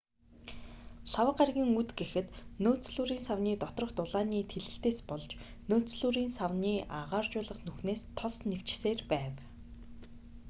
лхагва гарагийн үд гэхэд нөөцлүүрийн савны доторх дулааны тэлэлтээс болж нөөцлүүрийн савны агааржуулах нүхнээс тос нэвчсээр байв